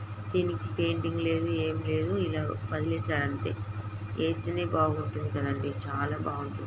దీనికి పెయింటింగ్ లేదు. ఏం లేదు. ఇలా వదిలేసారు అంతే. ఏస్తేనే బాగుంటుంది కదండీ చాలా బాగుం--